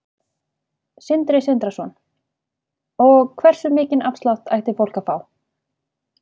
Sindri Sindrason: Og hversu mikinn afslátt ætti fólk að fá?